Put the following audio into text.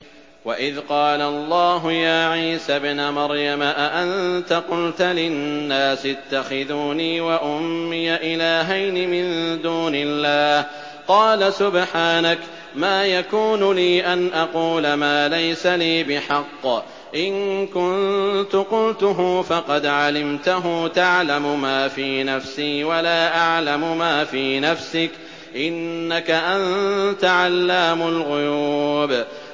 وَإِذْ قَالَ اللَّهُ يَا عِيسَى ابْنَ مَرْيَمَ أَأَنتَ قُلْتَ لِلنَّاسِ اتَّخِذُونِي وَأُمِّيَ إِلَٰهَيْنِ مِن دُونِ اللَّهِ ۖ قَالَ سُبْحَانَكَ مَا يَكُونُ لِي أَنْ أَقُولَ مَا لَيْسَ لِي بِحَقٍّ ۚ إِن كُنتُ قُلْتُهُ فَقَدْ عَلِمْتَهُ ۚ تَعْلَمُ مَا فِي نَفْسِي وَلَا أَعْلَمُ مَا فِي نَفْسِكَ ۚ إِنَّكَ أَنتَ عَلَّامُ الْغُيُوبِ